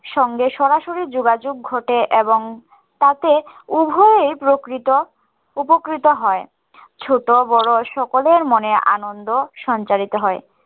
সঙ্গে সরাসরি যোগাযোগ ঘটে এবং তাতে উভয়ে প্রকৃত উপকৃত হয় ছোট বড়ো সকলের মনে আনন্দ সঞ্চারিত হয়